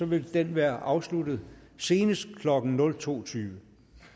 vil den være afsluttet senest klokken nul to tyve